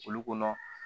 Olu kɔnɔ